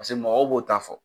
Pase mɔgɔw b'o ta fɔ.